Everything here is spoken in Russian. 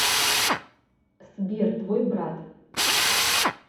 сбер твой брат